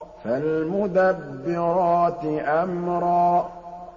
فَالْمُدَبِّرَاتِ أَمْرًا